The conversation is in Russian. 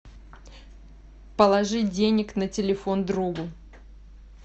положить денег на телефон другу